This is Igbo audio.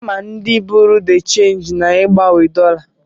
A ma ndị bụrụ dị chenji na-ịgbanwe dọlas.